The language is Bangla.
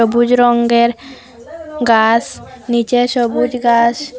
বুজ রঙ্গের গাস নীচে সবুজ গাস।